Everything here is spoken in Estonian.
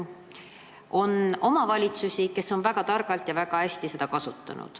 On omavalitsusi, kes on väga targalt ja väga hästi seda raha kasutanud.